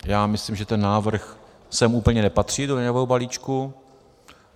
Já myslím, že ten návrh sem úplně nepatří, do daňového balíčku.